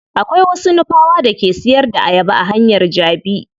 Akwai wasu nupawa da ke siyar da ayaba a hanyar jabi.